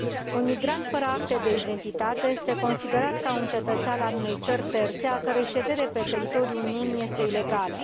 Un migrant fără acte de identitate este considerat ca un cetățean al unei țări terțe, a cărui ședere pe teritoriul Uniunii este ilegală.